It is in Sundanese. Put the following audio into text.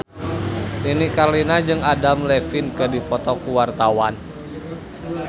Nini Carlina jeung Adam Levine keur dipoto ku wartawan